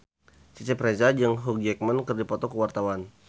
Cecep Reza jeung Hugh Jackman keur dipoto ku wartawan